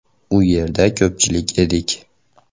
U yerda ko‘pchilik edik.